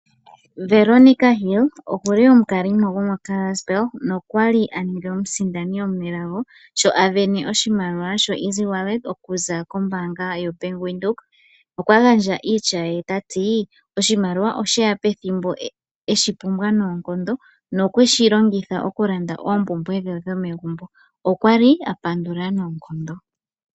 Veronica Hill okuli omukalimo gomoKarasBurg nokwali aninga omusindani omunelago sho asindana oshimaliwa shoEasy okuza koBank Windhoek okwa gandja iitya ye tati oshimaliwa osheya pethimbo eshi pumbwa noonkondo nokweshilongitha okulanda oompumbwe dhe dhomagumbo nokwali apandula noonkondo.